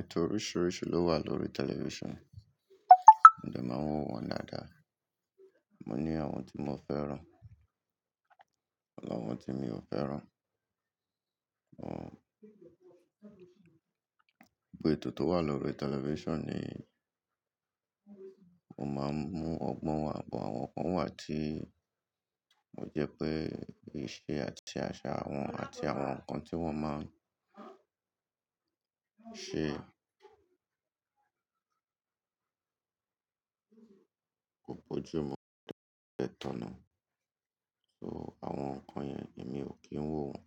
Ètò oríṣiríṣi ló wà lórí television, mo dè máa ń wo wọn daàdá. Mo ní àwọn tí mo fẹ́ràn pẹ̀lú àwọn tí mi ò fẹ́ràn. Gbogbó ètò tó wà lórí television ni o máa ń mú ọgbọ́n wa, but àwọn kan wà tí o jẹ́ pé ìṣe àti àṣà wọn àti àwọn ǹkan tí wọ́n máa ń ṣe kò bójú mu ẹtan ni so àwọn nkan yẹn èmi ò kí ń wò wọ́n.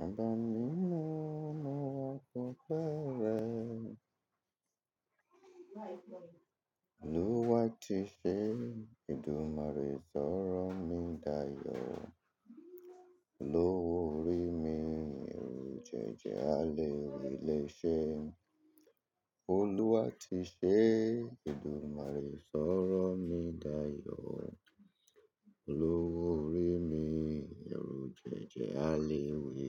Babá mi mó, mo wà gba ọ́pe rẹ. Olúwa ti ṣé, eedúmarẹ́ sọ̀rọ̀ mi dáyọ̀. Olowo orí mi, ẹrú jẹ́jẹ́ alẹ́wíléṣe. Olúwa ti ṣé, eedúmarẹ́ sọ̀rọ̀ mi dáyọ̀. Olúwo rí mi, ẹrú jẹ́jẹ́ alẹ́ wí.